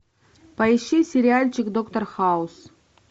поищи сериальчик доктор хаус